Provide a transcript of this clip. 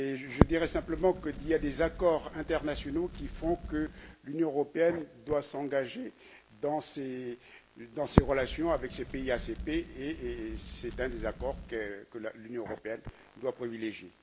Je dirai simplement qu'il y a des accords internationaux qui font que l'Union européenne doit s'engager dans ses relations avec les pays ACP, et c'est un des accords que l'Union européenne doit privilégier.